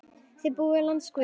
Þið búið í landi guðs.